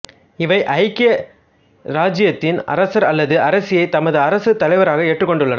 இவை ஐக்கிய இராச்சியத்தின் அரசர் அல்லது அரசியைத் தமது அரசுத் தலைவராக ஏற்றுக் கொண்டுள்ளன